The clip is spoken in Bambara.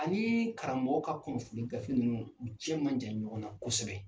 Ani karamɔgɔ ka kunnafoni gafe nunnu, u cɛ man jan ɲɔgɔn na kɔsɛbɛ.